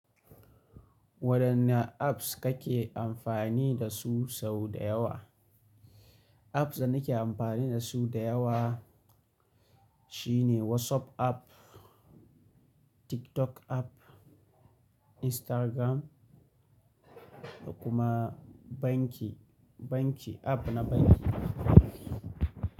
Wadanne apps kake amfani dasu sau da yawa? Apps da nake amfani dasu da yawa shine WhatsApp app, TikTok app, Instagram, da kuma banki, banki app na banki.